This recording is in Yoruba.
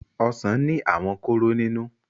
ọsán ní àwọn kóró nínú.